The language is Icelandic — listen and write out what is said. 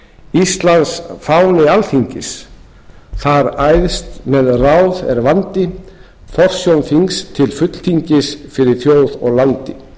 íslands fáni er alþingis þar æðst með ráð er vandi forsjón þings til fulltingis fyrir þjóð og landi